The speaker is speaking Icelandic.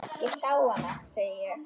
Ég sá hana, segi ég.